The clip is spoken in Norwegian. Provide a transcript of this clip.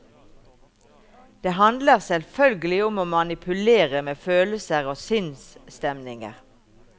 Det handler selvfølgelig om å manipulere med følelser og sinnsstemninger.